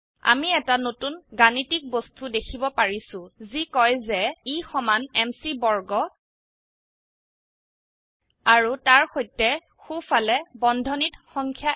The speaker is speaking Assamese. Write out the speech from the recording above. আমি এটা নতুন গাণিতিক বস্তু দেখিব পাৰিছো যি কয় যে E সমান M C বৰ্গ আৰু তাৰ সৈতে সো ফালে বন্ধনীত সংখ্যা এক